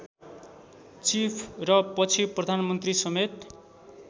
chief र पछि प्रधानमन्त्रीसमेत